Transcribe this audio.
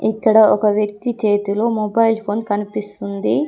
ఇక్కడ ఒక వ్యక్తి చేతిలో మొబైల్ ఫోన్ కనిపిస్తుంది.